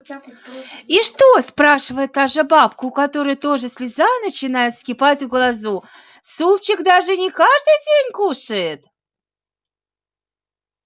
и что спрашивает та же бабка у которой тоже слеза начинает вскипать в глазу супчик даже не каждый день кушает